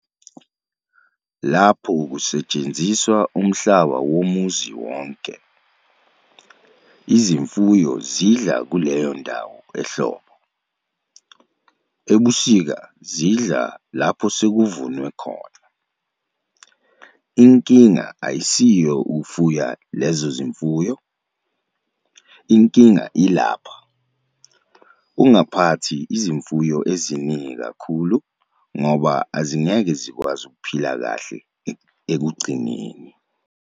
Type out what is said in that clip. Lapho kustshenziswa umhlaba womuzi wonke, izimfuyo zidla kuleyo ndawo ehlobo, ebusika zidla lapho sekuvunwe khona. Inkinga ayisiyo ukufuya lezo zimfuyo, inkinga ilapha- ungaphathi izimfuyo eziningi kakhulu ngoba azingeke zikwazi ukuphila kahle ekugcineni.